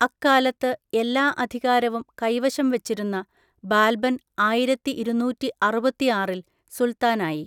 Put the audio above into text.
അക്കാലത്ത് എല്ലാ അധികാരവും കൈവശം വച്ചിരുന്ന ബാൽബൻ ആയിരത്തിഇരുന്നൂറ്റിഅറുപത്തിആറിൽ സുൽത്താനായി.